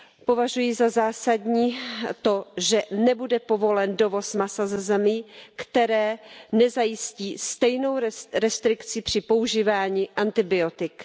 Považuji za zásadní to, že nebude povolen dovoz masa ze zemí, které nezajistí stejnou restrikci při používání antibiotik.